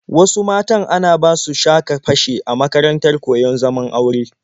Wasu matan ana basu sha-ka-fashe a makarantar koyon zaman aure.